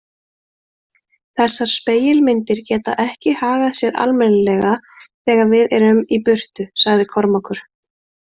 Þessar spegilmyndir geta ekki hagað sér almennilega þegar við erum í burtu, sagði Kormákur.